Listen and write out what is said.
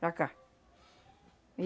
Para cá.